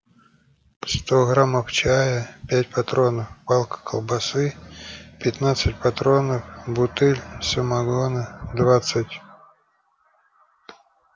сто граммов чая пять патронов палка колбасы пятнадцать патронов бутыль самогона двадцать